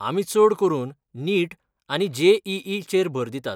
आमी चड करून 'नीट' आनी जे.ई.ई. चेर भर दितात.